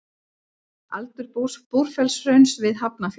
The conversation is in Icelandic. Aldur Búrfellshrauns við Hafnarfjörð.